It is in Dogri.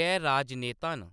गै राजनेता न।